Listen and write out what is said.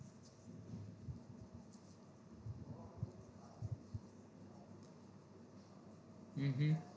હમ હા